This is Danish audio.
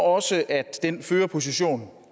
også at den førerposition